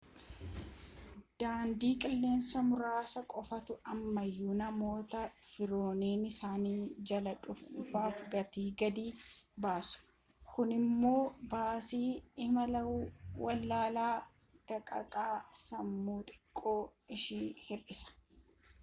daandii qilleensaa muraasa qofaatu ammayuu namoota firoonni isaanii jalaa du'aniif gatii gadi buusa kun immoo baasii imala awwaalaa daqiiqaa dhumaa xiqqoo ishii hir'isa